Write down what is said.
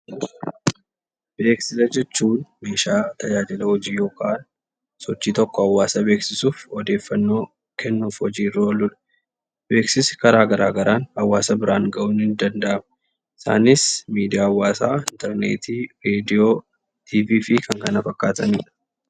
Beeksisa jechuun meeshaa tajaajila hojii yokaan sochii tokko hawaasa beeksisuuf odeeffannoo kennuuf hojiirra ooludha. Beeksisi karaa garaa garaan hawaasa biraan ga'uun ni danda'ama. Isaanis: miidiyaa hawaasaa, interneetii, reediyoo, tiivii fi kan kana fakkaatanidha.